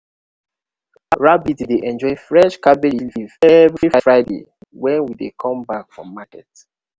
rabbit dey enjoy fresh cabbage leaf every friday wey we come back from market.